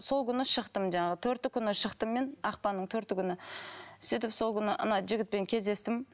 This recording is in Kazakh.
сол күні шықтым жаңағы төрті күні шықтым мен ақпанның төрті күні сөйтіп сол күні ана жігітпен кездестім